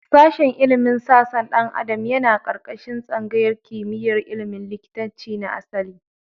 Sashen ilimin sassan ɗan adam yana ƙarƙashin tsangayar kimiyar ilimin likitanci na asali.